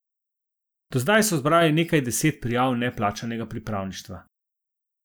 Do zdaj so zbrali nekaj deset prijav neplačanega pripravništva.